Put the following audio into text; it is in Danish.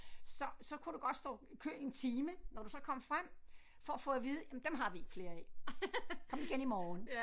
Så så kunne du godt stå i kø i en time når du så kom frem for at få at vide jamen dem har vi ikke flere af kom igen i morgen